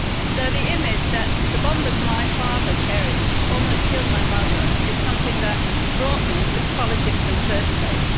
So the image that the bombers my father cherished almost killed my mother is something that brought me into politics in the first place.